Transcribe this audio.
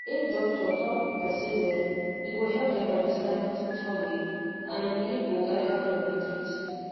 if doctor talk with person well e go help dem understand hospital way and belief go guide how dem go treat